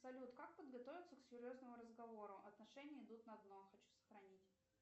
салют как подготовиться к серьезному разговору отношения идут на дно хочу сохранить